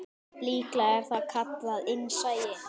Líklega er það kallað innsæi.